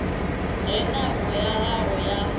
ge nako ya gagwe ya